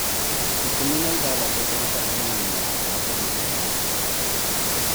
ikũmi na ithathatũ kũruta inyanya anja nĩ inyanya